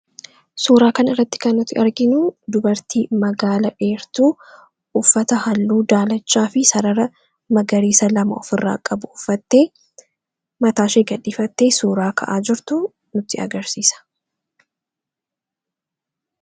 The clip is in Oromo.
suuraa kan irratti kan nuti arginu dubartii magaala dheertuu uffata halluu daalachaa fi sarara magariisa 2a of irraa qabu uffattee mataa5dhifatte suuraa ka’aa jirtu nuti agarsiisa